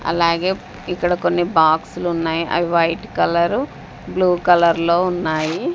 అలాగే ఇక్కడ కొన్ని బాక్సులున్నాయి అవి వైట్ కలరు బ్లూ కలర్లో ఉన్నాయి.